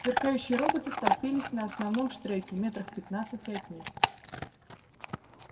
сверкающие роботы столпились на основном штреке в метрах пятнадцати от них